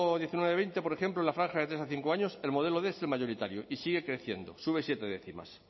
diecinueve veinte por ejemplo en la franja de tres a cinco años el modelo quinientos es el mayoritario y sigue creciendo sube siete décimas